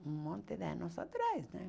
Um monte de anos atrás, né?